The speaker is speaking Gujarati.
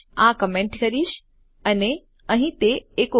આ કમેન્ટ કરીશ અને અહીં તે એકો કરીશ